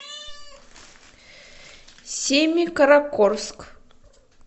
семикаракорск